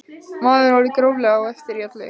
Maður er orðinn gróflega á eftir í öllu.